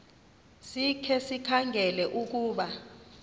sikhe sikhangele ukuba